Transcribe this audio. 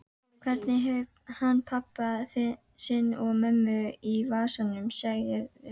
Hvernig hefur hann pabba sinn og mömmu í vasanum, segirðu?